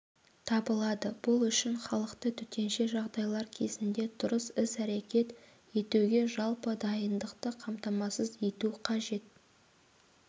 табылады бұл үшін халықты төтенше жағдайлар кезінде дұрыс іс-әрекет етуге жалпы дайындықты қамтамасыз ету қажет